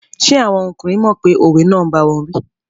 Ṣé àwọn ọkùnrin mọ̀ pé òwe náà n báwọn wí?